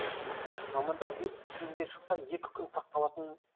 мамандар вирус киімге жұқса екі күн сақталатын